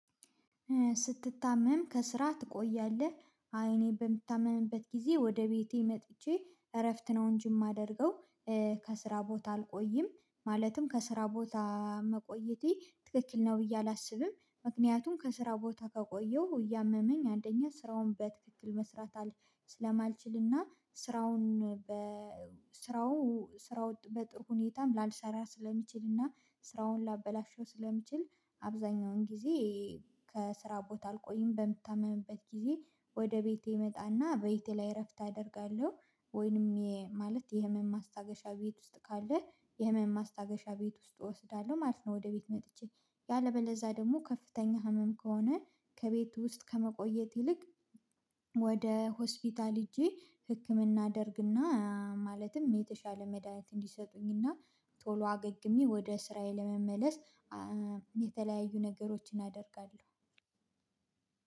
ስትታመም ከስራ ትቆያለህ አይ እኔ በምታመምበት ጊዜ ወደ ቤቴ መጥቼ እረፍት ነው እንጂ የማደርገው። ከስራ ቦታ አልቆይም ማለትም ከስራ ቦታ መቆየቴ ትክክል ነው ብዬ አላሰብም። ምክንያቱም ከስራ ቦታ ከቆየሁ እያመመኝ አንደኛ ስራውን በትክክል መስራት አል ስለማልችልና ስራውን በ ስራው ስራ ወጥ በጥሩ ሁኔታ ላልሰራ ስለምችልና ስራውን ላበላሸው ስለምችል አብዛኛውን ጊዜ። ከስራ ቦታ አልቆይም በምታመምበት ጊዜ ወደ ቤቴ እመጣና ቤቴ ላይ እረፍት አደርጋለሁ። ወይንም ማለት የህመም ማስታገሻ ቤት ውስጥ ካለ የህመም ማስታገሻ ቤት ውስጥ እወስዳለሁ ማለት ነው። ወደ ቤት መጥቼ ያለበለዛ ደግሞ ከፍተኛ ህመም ከሆነ ከቤት ውስጥ ከመቆየት ይልቅ ወደ ሆስፒታል ሄጄ ህክምና አደርግና ማለትም የተሻለ መድሃኒት እንዲሰጡኝና ቶሎ አገግሜ ወደ ስራዬ ለመመለስ። የተለያዩ ነገሮችን አደርጋለሁ።